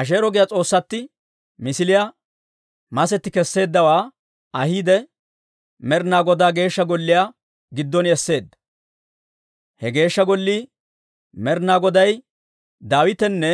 Asheero giyaa s'oossatti misiliyaa, masetti kesseeddawaa ahiide, Med'ina Godaa Geeshsha Golliyaa giddon esseedda. He Geeshsha Gollii, Med'ina Goday Daawitanne